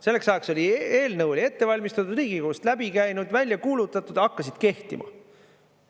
Selleks ajaks eelnõu oli ette valmistatud, Riigikogust läbi käinud, välja kuulutatud, hakkasid kehtima.